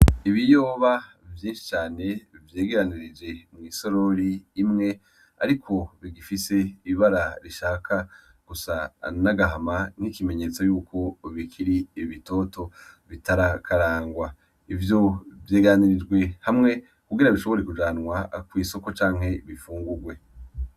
Ibiyoba vyinshi cane vyegeranije mwisorori imwe ariko bigifise ibara rishaka gusa n'agahama nk'ikimenyetso Yuko bikiri bitoto bitarakarangwa .ivyo vyegeranirijwe hamwe kugira bishobore kujanwa mw'isoko canke bifungurwe .